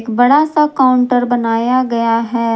बड़ा सा काउंटर बनाया गया है।